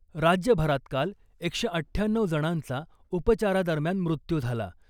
राज्यभरात काल एकशे अठ्ठ्याण्णऊ जणांचा उपचारादरम्यान मृत्यू झाला .